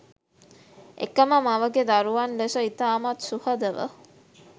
එකම මවගේ දරුවන් ලෙස ඉතාමත් සුහදව